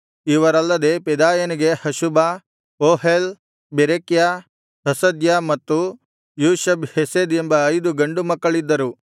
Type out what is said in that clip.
ಇವರಲ್ಲದೆ ಪೆದಾಯನಿಗೆ Hashubah Ohel Berechiah Hasadiah ಮತ್ತು Jushab Hesed ಎಂಬ ಐದು ಗಂಡು ಮಕ್ಕಳಿದ್ದರು